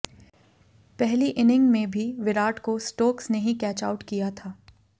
पहली इनिंग में भी विराट को स्टोक्स ने ही कैच आउट किया था